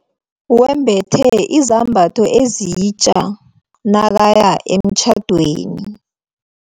Wembethe izambatho ezitja nakaya emtjhadweni.